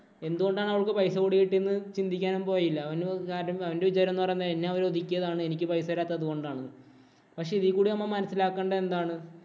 എന്തുകൊണ്ടാണ് അവൾക്ക് പൈസ കൂടി കിട്ടിയേന്ന് ചിന്തിക്കാനും പോയില്ല. അവന്‍റെ കാര്യം അവന്‍റെ വിചാരം എന്ന് പറയുന്നത് എന്നെ അവര് ഒതുക്കിയതാണ്. എനിക്ക് പൈസ തരാത്തത് അതുകൊണ്ടാണ്. പക്ഷേ ഇതീ കൂടി നമ്മൾ മനസിലാക്കേണ്ടത് എന്താണ്?